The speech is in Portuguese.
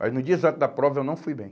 Mas no dia exato da prova eu não fui bem.